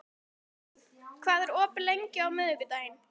Arnrún, hvað er opið lengi á miðvikudaginn?